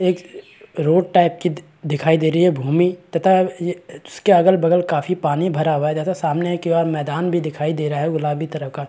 एक road type की दी दिखाई दे रही है भूमि तथा ये उसके अगल - बगल काफी पानी भरा हुआ है तथा सामने की ओर एक मैदान भी दिखाई दे रहा है गुलाबी तरह का --